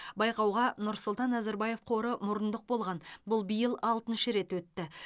байқауға нұрсұлтан назарбаев қоры мұрындық болған бұл биыл алтыншы рет өтті